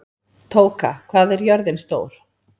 Tóka, hvað er jörðin stór?